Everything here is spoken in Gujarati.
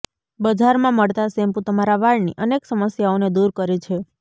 બજારમાં મળતાં શેમ્પૂ તમારા વાળની અનેક સમસ્યાઓને દૂર કરે છે